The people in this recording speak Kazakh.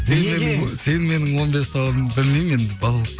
неге сен менің он бес тауығым білмеймін енді балалық